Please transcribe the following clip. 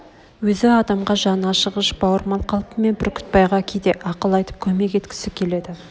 өз адамға жаны ашығыш бауырмал қалпымен бүрктбайға кейде ақыл айтып көмек еткісі келеді